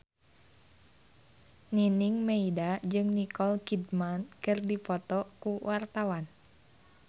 Nining Meida jeung Nicole Kidman keur dipoto ku wartawan